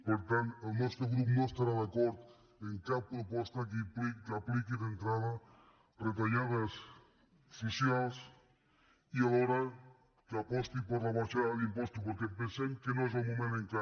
per tant el nostre grup no estarà d’acord en cap pro·posta que apliqui d’entrada retallades socials i alho·ra que aposti per la baixada d’impostos perquè pen·sem que no n’és el moment encara